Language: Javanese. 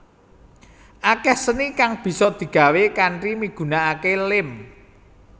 Akeh seni kang bisa digawé kanthi migunakake lem